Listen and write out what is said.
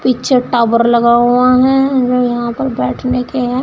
पीछे टावर लगा हुआ है और यहां पर बैठने के हैं।